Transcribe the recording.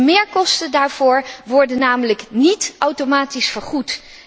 De meerkosten daarvoor worden namelijk niet automatisch vergoed.